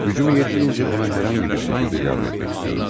Gücüm yetdiyincə ona hər hansı bir şəkildə yardım etmək istəyirəm.